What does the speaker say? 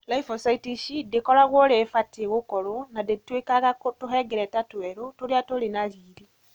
Lymphocytes ici ndikoragũo ũrĩa ibatie gũkorũo na itĩtũĩkaga tũhengereta tũeru tũrĩa tũrĩ na riri.